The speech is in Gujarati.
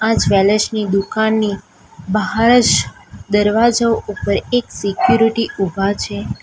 આ જ્વેલર્સ ની દુકાનની બહાર જ દરવાજો ઉપર એક સિક્યુરિટી ઉભા છે.